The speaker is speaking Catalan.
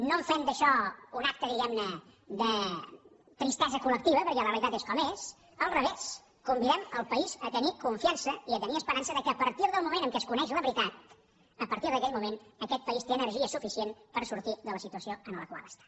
no fem d’això un acte diguem ne de tristesa col·lectiva perquè la realitat és com és al revés convidem el país a tenir confiança i a tenir esperança que a partir del moment en què es coneix la veritat a partir d’aquell moment aquest país té energia suficient per sortir de la situació en la qual està